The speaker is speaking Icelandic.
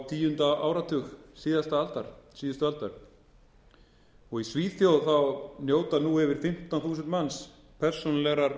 tíunda áratug síðustu aldar í svíþjóð njóta nú yfir fimmtán þúsund manns persónulegrar